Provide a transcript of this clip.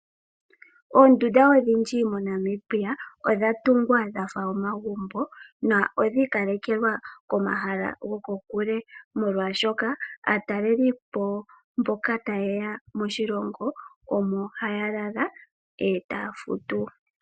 Oondunda odhindji moNamibia odha tungwa dha fa omagumbo nodhi ikalekelwa komahala gokokule, molwaashoka aatalelipo mboka taye ya moshilongo omo haya lala e taya futu.